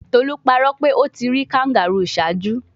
Tolu parọ pe o ti ri kangaroo ṣaaju